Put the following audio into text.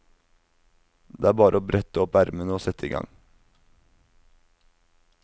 Det er bare å brette opp ermene og sette igang.